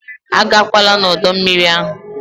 Agakwala n'ọdọ mmiri ahụ!